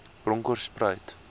bronkhorspruit